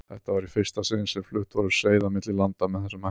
Þetta var í fyrsta sinni sem flutt voru seiði á milli landa með þessum hætti.